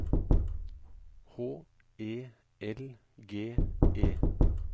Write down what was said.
H E L G E